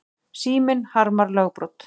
Síminn harmar lögbrot